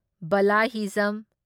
ꯕꯥꯂꯥ ꯍꯤꯖꯝ